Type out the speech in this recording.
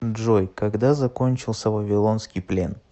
джой когда закончился вавилонский плен